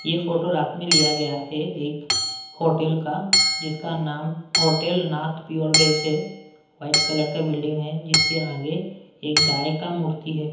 ये फोटो रात में लिया गया हैएक होटल का जिसका नाम होटल नाथ प्योर वेज है वाइट कलर का बिल्डिंग है जिसके आगे एक गाय का मूर्ति है।